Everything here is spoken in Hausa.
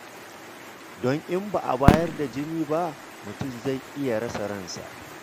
Don in ba a bayar da jinin ba, mutum zai iya rasa ransa.